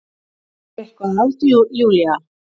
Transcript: Er eitthvað að Júlía?